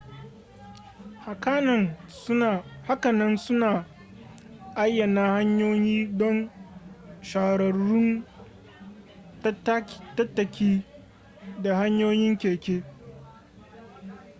hakanan suna ayyana hanyoyi don shahararrun tattaki da hanyoyin keke